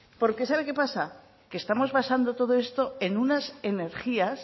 porque sabe que pasa que estamos basando todo esto en unas energías